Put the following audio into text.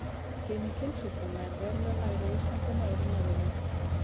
Tíðni kynsjúkdóma er verulega lægri á Íslandi en á öðrum Norðurlöndum.